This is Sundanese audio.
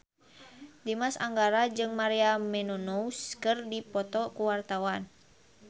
Dimas Anggara jeung Maria Menounos keur dipoto ku wartawan